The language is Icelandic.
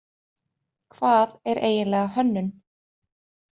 Hvað er eiginlega hönnun?